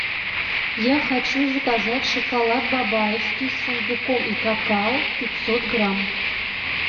я хочу заказать шоколад бабаевский с фундуком и какао пятьсот грамм